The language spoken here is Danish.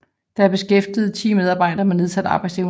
Der er beskæftiget ti medarbejdere med nedsat arbejdsevne